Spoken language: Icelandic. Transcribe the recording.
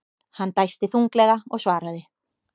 Hann dæsti þunglega og svaraði.